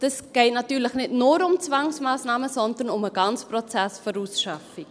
Es geht natürlich nicht nur um Zwangsmassnahmen, sondern um den ganzen Prozess der Ausschaffung.